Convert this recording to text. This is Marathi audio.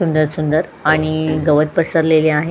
सुंदर सुंदर आणि गवत पसरलेले आहे.